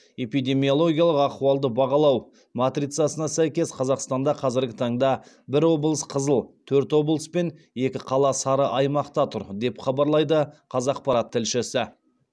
эпидемиологиялық ахуалды бағалау матрицасына сәйкес қазақстанда қазіргі таңда бір облыс қызыл төрт облыс пен екі қала сары аймақта тұр деп хабарлайды қазақпарат тілшісі